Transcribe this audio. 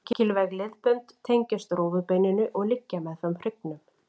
Mikilvæg liðbönd tengjast rófubeininu og liggja meðfram hryggnum.